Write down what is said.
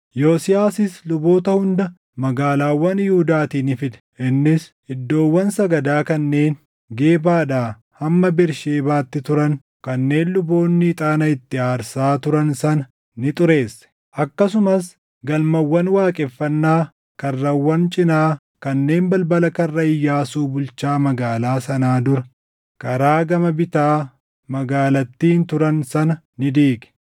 Yosiyaasis luboota hunda magaalaawwan Yihuudaatii ni fide; innis iddoowwan sagadaa kanneen Gebaadhaa hamma Bersheebaatti turan kanneen luboonni ixaana itti aarsaa turan sana ni xureesse. Akkasumas galmawwan waaqeffannaa karrawwan cinaa kanneen balbala Karra Iyyaasuu bulchaa magaalaa sanaa dura karaa gama bitaa magaalattiin turan sana ni diige.